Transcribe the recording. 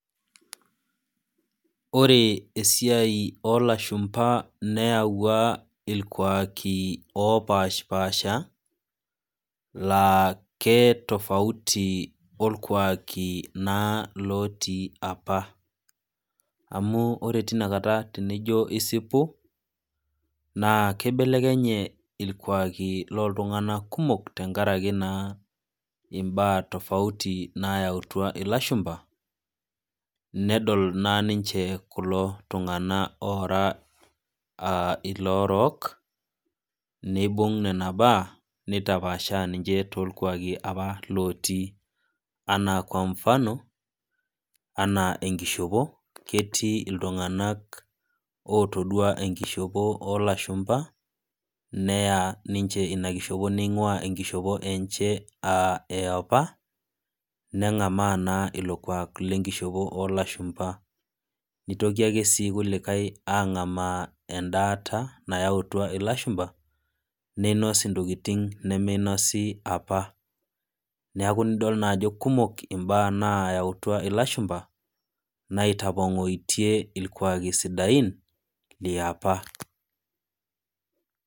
ore esiiai oolashumba neyawua ilkuaaki oopaasha laakitafuati olkuaki apa amu ora kata